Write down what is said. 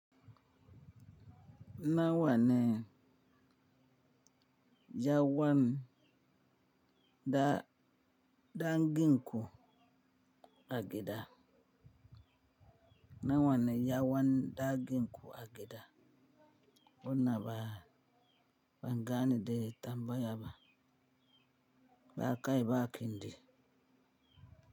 Na wa ne yawan da dangin ku a gida? Na wa ne yawan da dangin ku a gida? Wannan ba ban gane da tambayar ba. Ba kai ba gindi.